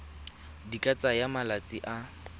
di ka tsaya malatsi a